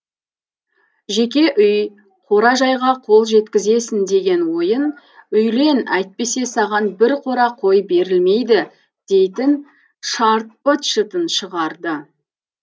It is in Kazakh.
жеке үй қора жайға қол жеткізесің деген ойын үйлен әйтпесе саған бір қора қой берілмейді дейтін шарт быт шытын шығарды